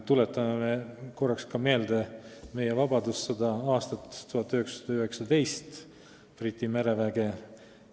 Tuletame korraks meelde ka meie vabadussõda, aastat 1919 ja Briti mereväge.